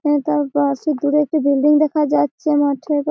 এবং তার পাশে দূরে একটি বিল্ডিং দেখা যাচ্ছে মাঠের পা--